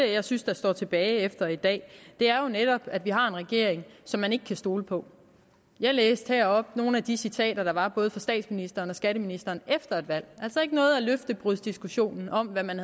jeg synes står tilbage efter i dag er jo netop at vi har en regering som man ikke kan stole på jeg læste heroppe nogle af de citater der var fra både statsministeren og skatteministeren efter valget altså ikke noget af løftebrudsdiskussionen om hvad man